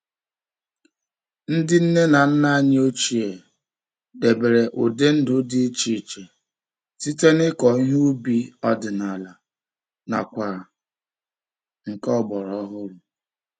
Ndị nne na nna anyị ochie debere ụdị ndụ dị iche iche site n'ịkọ ihe ubi ọdị-na-mbụ nakwa nke ọgbara ọhụrụ.